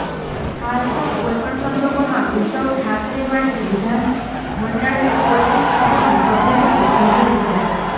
હાલ તો કોઇપણ સંજોગોમાં ઉદ્ધવ ઠાકરે માટે વિધાનમંડળને કોઇ પણ સદનનું સભ્ય બનવું જરૂરી છે